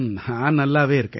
நான் நல்லாவே இருக்கேன்